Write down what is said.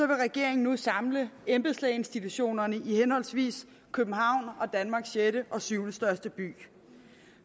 vil regeringen nu samle embedslægeinstitutionerne i henholdsvis københavn og danmarks sjette og syvende største byer